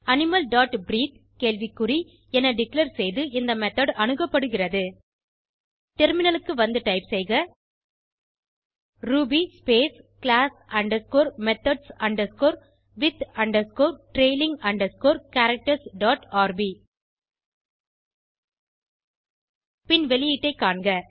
animal dot breathe கேள்வி குறி என டிக்ளேர் செய்து இந்த மெத்தோட் அணுகப்படுகிறது டெர்மினலுக்கு வந்து டைப் செய்க ruby space class underscore methods underscore with underscore trailing underscore characters dot R B வெளியீட்டை காண்க